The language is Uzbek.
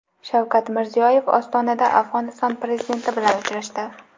Shavkat Mirziyoyev Ostonada Afg‘oniston prezidenti bilan uchrashdi.